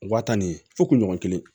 Waa tan ni fo kunɲɔgɔn kelen